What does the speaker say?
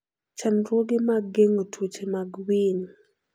Chandruoge mag geng'o tuoche mag winy.